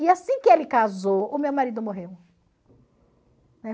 E assim que ele casou, o meu marido morreu.